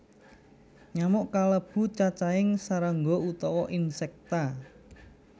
Nyamuk kalebu cacahing srangga utawa Insecta